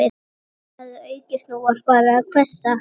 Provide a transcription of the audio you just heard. Úrkoman hafði aukist og nú var farið að hvessa